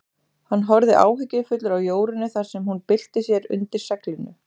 Hann horfði áhyggjufullur á Jórunni þar sem hún bylti sér undir seglinu.